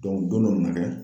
dɔnku dɔn dɔ nana kɛ